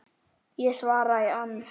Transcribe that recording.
Ég svara í ann